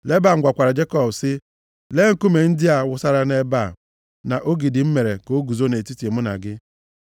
Leban gwakwara Jekọb sị, “Lee nkume ndị a a wụsara nʼebe a na ogidi m mere ka o guzo nʼetiti mụ na gị.